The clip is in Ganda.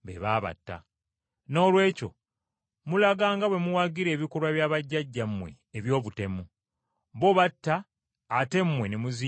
Noolwekyo mulaga nga bwe muwagira ebikolwa bya bajjajjammwe eby’obutemu. Bo batta ate mmwe ne muzimba ebijjukizo.